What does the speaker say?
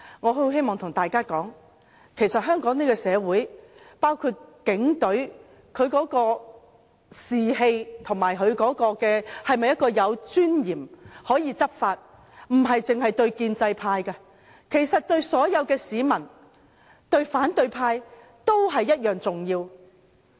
我很希望跟大家說，在香港這個社會，警隊的士氣或它是否有尊嚴地執法，不只對建制派，對所有市民、對反對派，也同樣重要。